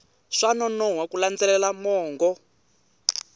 swa nonoha ku landzelela mongo